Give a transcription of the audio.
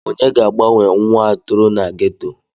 Onye ga-agbanwe nwa a toro na geto?